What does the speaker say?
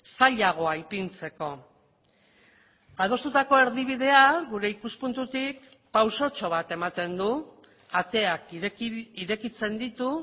zailagoa ipintzeko adostutako erdibidea gure ikuspuntutik pausotxo bat ematen du ateak irekitzen ditu